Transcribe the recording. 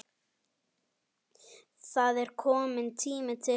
Það er kominn tími til.